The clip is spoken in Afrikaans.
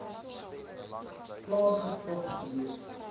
klaar gestop gewees